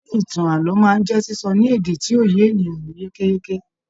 Ṣe ìtàn ààlọ́ máa n jẹ sísọ ní èdè tí yóò yé ènìyàn yékéyéké?